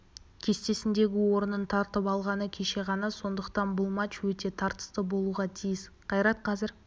кестесіндегі орнын тартып алғаны кеше ғана сондықтан бұл матч өте тартысты болуға тиіс қайрат қазір